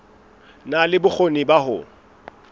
na le bokgoni ba ho